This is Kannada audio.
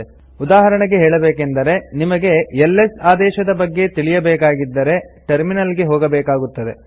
ಉದಾಹರಣೆಗೆ ಹೇಳಬೇಕೆಂದರೆನಿಮಗೆ ಎಲ್ಎಸ್ ಆದೇಶದ ಬಗ್ಗೆ ತಿಳಿಯ ಬೇಕಾಗಿದ್ದರೆ ಟರ್ಮಿನಲ್ ಗೆ ಹೋಗಬೇಕಾಗುತ್ತದೆ